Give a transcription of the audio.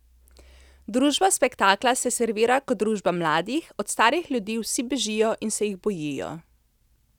Družba spektakla se servira kot družba mladih, od starih ljudi vsi bežijo in se jih bojijo.